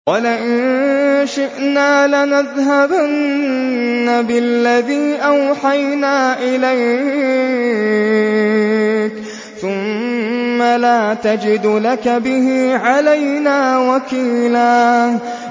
وَلَئِن شِئْنَا لَنَذْهَبَنَّ بِالَّذِي أَوْحَيْنَا إِلَيْكَ ثُمَّ لَا تَجِدُ لَكَ بِهِ عَلَيْنَا وَكِيلًا